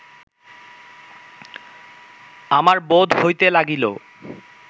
আমার বোধ হইতে লাগিল